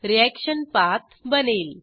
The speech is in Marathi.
रिअॅक्शन पाथ बनेल